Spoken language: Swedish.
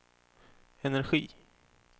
energi